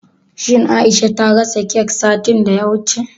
Shin Aisha ta gasa kek satin da ya wuce?